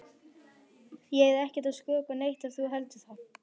Ég er ekkert að skrökva neitt ef þú heldur það.